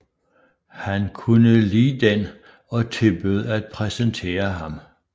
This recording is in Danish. Hun kunne lide den og tilbød at præsentere ham